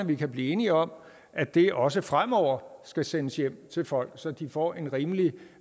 vi kan blive enige om at det også fremover skal sendes hjem til folk så de får en rimelig